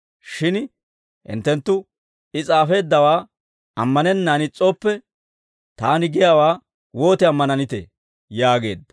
Shin hinttenttu I s'aafeeddawaa ammanennaan is's'ooppe, taani giyaawaa wooti ammananitee?» yaageedda.